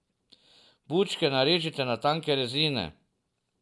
Bučke narežite na tanke rezine.